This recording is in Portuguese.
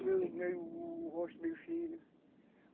Cabelo meio, o rosto meio fino.